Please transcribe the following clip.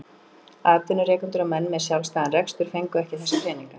Atvinnurekendur og menn með sjálfstæðan rekstur fengu ekki þessa peninga.